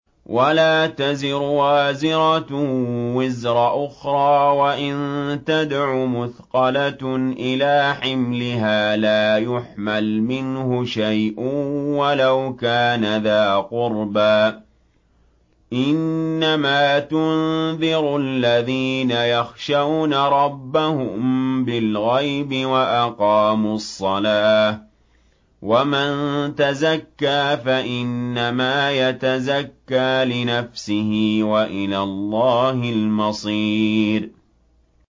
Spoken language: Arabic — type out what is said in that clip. وَلَا تَزِرُ وَازِرَةٌ وِزْرَ أُخْرَىٰ ۚ وَإِن تَدْعُ مُثْقَلَةٌ إِلَىٰ حِمْلِهَا لَا يُحْمَلْ مِنْهُ شَيْءٌ وَلَوْ كَانَ ذَا قُرْبَىٰ ۗ إِنَّمَا تُنذِرُ الَّذِينَ يَخْشَوْنَ رَبَّهُم بِالْغَيْبِ وَأَقَامُوا الصَّلَاةَ ۚ وَمَن تَزَكَّىٰ فَإِنَّمَا يَتَزَكَّىٰ لِنَفْسِهِ ۚ وَإِلَى اللَّهِ الْمَصِيرُ